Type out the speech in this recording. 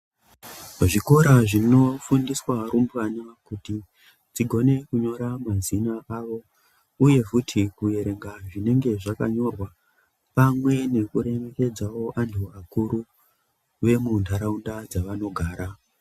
Muzvikora zvinofundiswa rumbwana kuti dzikone kunyora mazita awo uye futhi kuyerenga zvinenge zvakanyorwa pamwe nekuremekedzawo antu akuru vemundaraunda dzavanogara.